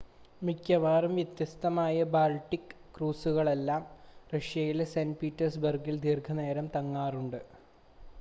മിക്കവാറും വ്യത്യസ്തമായ ബാൾട്ടിക് ക്രൂസുകളെല്ലാം റഷ്യയിലെ സെൻ്റ് പീറ്റേഴ്സ്ബർഗിൽ ദീർഘനേരം തങ്ങാറുണ്ട്